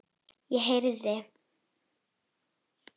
Ég heyrði